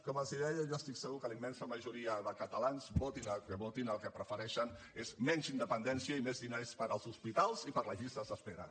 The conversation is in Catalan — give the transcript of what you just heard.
com els deia jo estic segur que la immensa majoria de catalans votin el que votin el que prefereixen és menys independència i més diners per als hospitals i per a les llistes d’espera